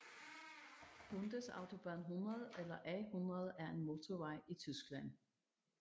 Bundesautobahn 100 eller A 100 er en motorvej i Tyskland